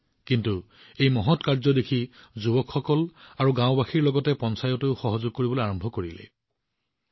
কিন্তু অলপ সময়ৰ ভিতৰতে যুৱকযুৱতী আৰু গাওঁবাসীৰ সৈতে পঞ্চায়তেও এই মহৎ কামত সম্পূৰ্ণ সমৰ্থন আগবঢ়োৱা আৰম্ভ কৰে